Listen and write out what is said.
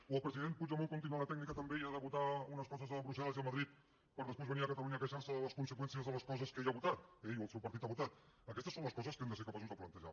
o el president puigdemont continua la tècnica tan vella de votar unes coses a brussel·les i a madrid per després venir a catalunya a queixar se de les conseqüències de les coses que ell ha votat ell o el seu partit ha votat aquestes són les coses que hem de ser capaços de plantejar